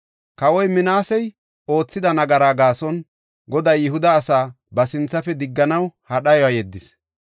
Kawoy Minaasey oothida nagara gaason Goday Yihuda asaa ba sinthafe digganaw ha dhayuwa yeddis.